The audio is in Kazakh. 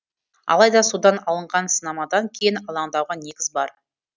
алайда судан алынған сынамадан кейін алаңдауға негіз бар